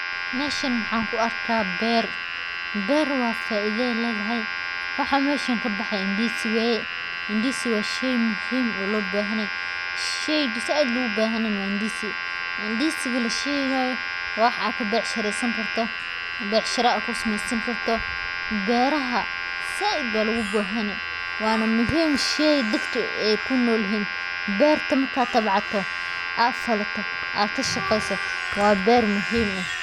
Meeshaan waxaan ku arkaa beer. Beer faa’iido ayey letedahay. Waxa meeshaan ka baxaya waa ndizi waye . ndizi waa shay muhiim ah oo loo baahan yahay. shayga ayay uga baahan yihiin wa ndizi. ndizigala sheegayo waa wax aad baaxad u bacshiraysani karto, becsharo aat aad ku sameysan karto. Beeraha aad ayuu ndizi ugu baahan yahay, waana shay muhiim ah oo ay dadka ku nool yihiin. Beerta marka aad tabcato, aad falato, aad ka shaqeyso, waa beer muhiim ah.